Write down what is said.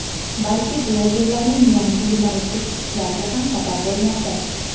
balki blogerlarning yangi yumoristik chiqishlariga ham sabab bo‘lmoqda.